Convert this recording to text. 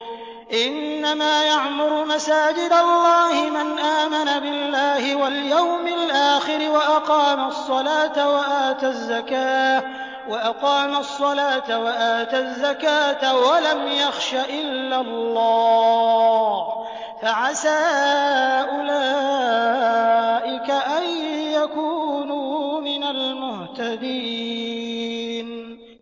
إِنَّمَا يَعْمُرُ مَسَاجِدَ اللَّهِ مَنْ آمَنَ بِاللَّهِ وَالْيَوْمِ الْآخِرِ وَأَقَامَ الصَّلَاةَ وَآتَى الزَّكَاةَ وَلَمْ يَخْشَ إِلَّا اللَّهَ ۖ فَعَسَىٰ أُولَٰئِكَ أَن يَكُونُوا مِنَ الْمُهْتَدِينَ